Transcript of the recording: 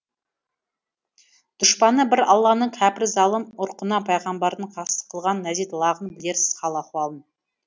дұшпаны бір алланың кәпір залым ұрқына пайғамбардың қастық қылған нәзит лағын білерсіз хал ахуалын